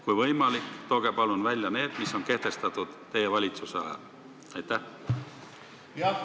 Kui võimalik, tooge palun välja need, mis on kehtestatud teie valitsuse ajal!